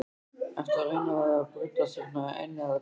Ertu að reyna að brjótast hérna inn eða hvað!